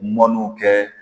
Mɔnniw kɛ